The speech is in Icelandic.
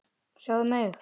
Sjáðu mig.